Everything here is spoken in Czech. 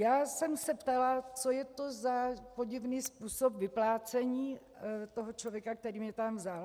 Já jsem se ptala, co je to za podivný způsob vyplácení, toho člověka, který mě tam vzal.